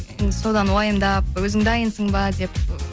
енді содан уайымдап өзің дайынсың ба деп